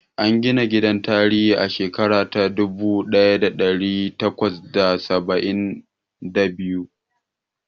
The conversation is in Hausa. An gina gidan tarihi a shekara ta dubu ɗaya da ɗari takwas da saba'in da biyu.